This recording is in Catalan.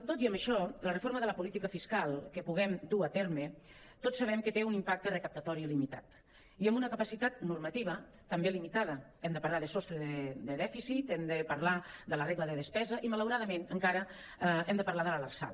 tot i amb això la reforma de la política fiscal que puguem dur a terme tots sa·bem que té un impacte recaptatori limitat i amb una capacitat normativa també li·mitada hem de parlar de sostre de dèficit hem de parlar de la regla de despesa i malauradament encara hem de parlar de l’arsal